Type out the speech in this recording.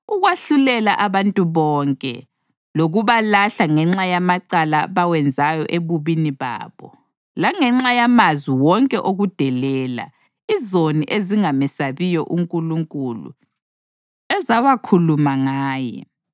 ukwahlulela abantu bonke, lokubalahla ngenxa yamacala abawenzayo ebubini babo, langenxa yamazwi wonke okudelela, izoni ezingamesabiyo uNkulunkulu ezawakhuluma ngaye.”